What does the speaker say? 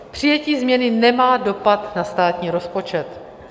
Přijetí změny nemá dopad na státní rozpočet.